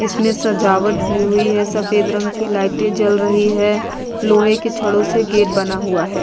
इसमें सजावट भी हुई है सफेद रंग की लाइटें जल रही है लोहे के छड़ों से गेट बना हुआ है ।